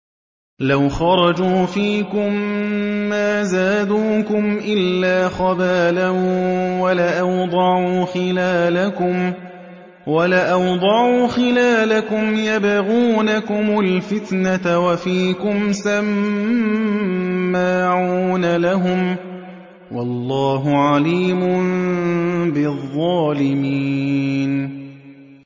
لَوْ خَرَجُوا فِيكُم مَّا زَادُوكُمْ إِلَّا خَبَالًا وَلَأَوْضَعُوا خِلَالَكُمْ يَبْغُونَكُمُ الْفِتْنَةَ وَفِيكُمْ سَمَّاعُونَ لَهُمْ ۗ وَاللَّهُ عَلِيمٌ بِالظَّالِمِينَ